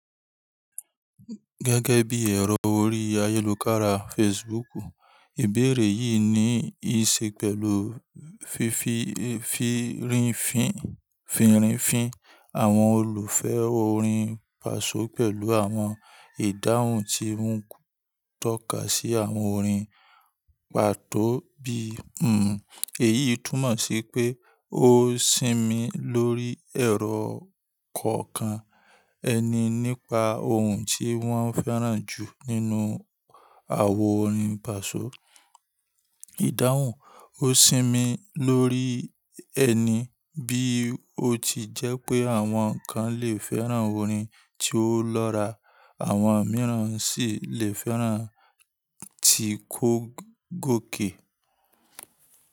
Gẹ́gẹ́ bí ẹ̀rọ orí ayélujára Facebook, ìbéèrè yìí ní í ṣe pẹ̀lú fífi fírínfín àwọn olùfẹ́ orin Pasọ̀ pẹ̀lú àwọn ìdáhùn tí ń tọ́ka sí àwọn orin pàtó bíi “Hmm.” Èyí túmọ̀ sí pé ó sinmi lórí ẹ̀rọ kọ̀ọ̀kan ẹni nípa ohun tí wọ́n fẹ́ràn jù nínú àwo orin Pasọ̀. Ìdáhùn ó sinmi lórí ẹni bí ó ti jẹ́ pé àwọn kan lè fẹ́ràn orin tí ó lọ́ra, àwọn mìíràn sì lè fẹ́ràn ti kókòkè.